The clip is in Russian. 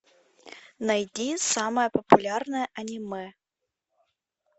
найди самое популярное аниме